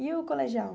E o colegial?